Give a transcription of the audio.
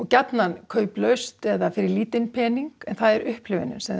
gjarnan kauplaust eða fyrir lítinn pening en það er upplifunin sem